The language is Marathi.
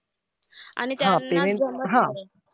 आणि त्यांना जमत नाही.